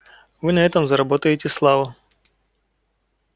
вы на этом заработаете славу